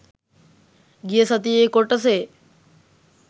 ගිය සතියේ කොටසේ